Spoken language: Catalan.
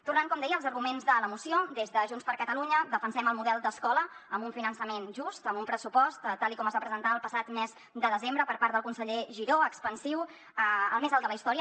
tornant com deia als arguments de la moció des de junts per catalunya defensem el model d’escola amb un finançament just amb un pressupost tal com es va presentar el passat mes de desembre per part del conseller giró expansiu el més alt de la història